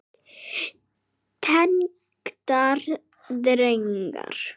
Tengdar greinar